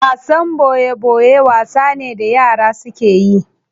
Wasan boye boye wasa ne da yara suke yi.